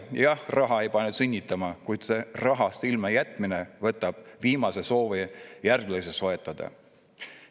Jah, raha ei pane sünnitama, kuid rahast ilmajätmine võtab viimsegi soovi järglasi soetada.